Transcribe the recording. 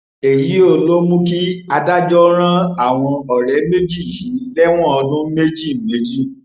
èyío ló mú kí adájọ ran àwọn ọrẹ méjì yìí lẹwọn ọdún méjì méjì